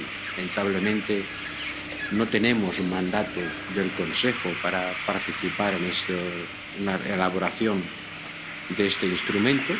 Lamentablemente no tenemos un mandato del Consejo para participar en la elaboración de este instrumento.